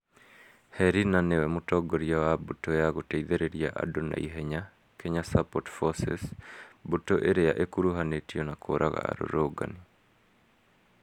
Herina nĩwe mũtongoria wa mbũtũ ya gũteithĩrĩria andũ na ihenya -kenya Support Forces (KSF), mbũtũ ĩrĩa ikuruhanĩtio na kũũraga arũrũngani.